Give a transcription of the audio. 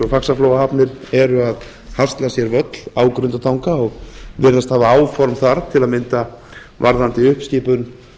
faxaflóahafnir eru að hasla sér völl á grundartanga og virðast hafa áform þar til að mynda varðandi uppskipun